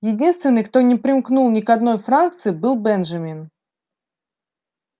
единственный кто не примкнул ни к одной фракции был бенджамин